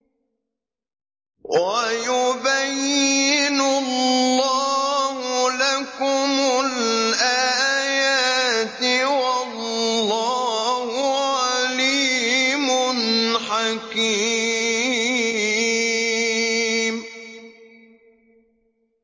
وَيُبَيِّنُ اللَّهُ لَكُمُ الْآيَاتِ ۚ وَاللَّهُ عَلِيمٌ حَكِيمٌ